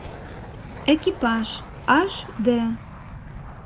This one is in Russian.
экипаж аш дэ